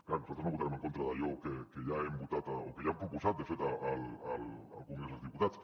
clar nosaltres no votarem en contra d’allò que ja hem votat o que ja hem proposat de fet al congrés dels diputats